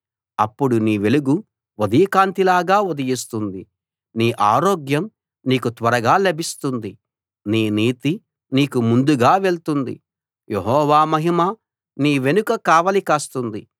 అప్పుడు నీ వెలుగు ఉదయకాంతిలాగా ఉదయిస్తుంది నీ ఆరోగ్యం నీకు త్వరగా లభిస్తుంది నీ నీతి నీకు ముందుగా వెళ్తుంది యెహోవా మహిమ నీ వెనుక కావలి కాస్తుంది